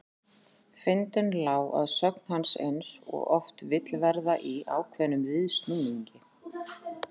Fyndnin lá að sögn hans eins og oft vill verða í ákveðnum viðsnúningi.